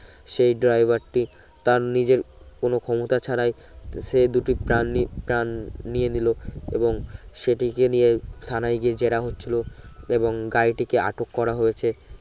সেই driver টি তার নিজের কোন ক্ষমতা ছাড়াই সে দুটি প্রান নি প্রান নিয়ে নিলো এবং সেটিকে নিয়ে থানায় গিয়ে যেরা হচ্ছিলো এবং গাড়িটিকে আটোক করা হয়েছে